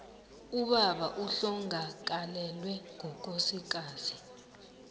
ubaba ohlongakalelwe ngukosikazi